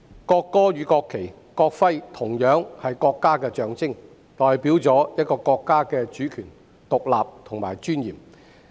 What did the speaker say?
國歌、國旗及國徽同樣是國家的象徵，代表一個國家的主權、獨立和尊嚴。